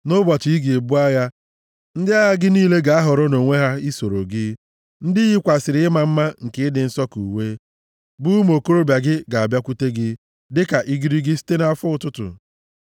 Nʼụbọchị ị ga-ebu agha, ndị agha gị niile ga-ahọrọ nʼonwe ha i soro gị. Ndị yikwasịrị ịma mma nke ịdị nsọ ka uwe, bụ ụmụ okorobịa gị ga-abịakwute gị dịka igirigi site nʼafọ ụtụtụ.